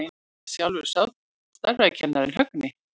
Það var sjálfur stærðfræðikennarinn, Högni.